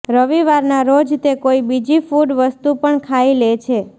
રવિવારના રોજ તે કોઈ બીજી ફૂડ વસ્તુ પણ ખાઈ લે છે